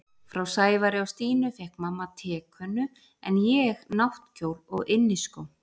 Frá Sævari og Stínu fékk mamma tekönnu en ég náttkjól og inniskó.